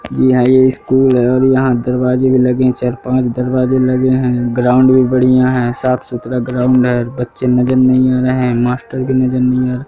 जी यहां ये स्कूल है और यहां दरवाजे भी लगे चार पांच दरवाजे लगे हैं ग्राउंड भी बढ़िया है साफ सुथरा ग्राउंड है बच्चे नजर नहीं आ रहे है मास्टर भी नजर नहीं आ--